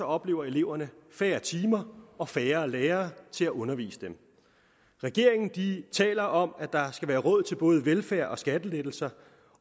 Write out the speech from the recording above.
oplever eleverne færre timer og færre lærere til at undervise dem regeringen taler om at der skal være råd til både velfærd og skattelettelser